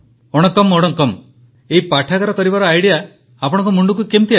ପ୍ରଧାନମନ୍ତ୍ରୀ ୱଣକ୍କମ୍ ୱଣକ୍କମ୍ ଏହି ପାଠାଗାର କରିବାର ଆଇଡିଆ ଆପଣଙ୍କ ମୁଣ୍ଡକୁ କେମିତି ଆସିଲା